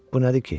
Bu nədir ki?